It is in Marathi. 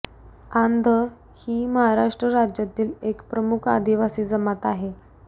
आंध ही महाराष्ट्र राज्यातील एक प्रमुख आदिवासी जमात आहे